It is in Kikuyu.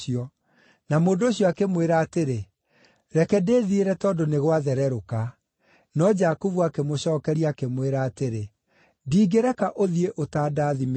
Na mũndũ ũcio akĩmwĩra atĩrĩ, “Reke ndĩthiĩre tondũ nĩ gwathererũka.” No Jakubu akĩmũcookeria, akĩmwĩra atĩrĩ, “Ndingĩreka ũthiĩ ũtandathimĩte.”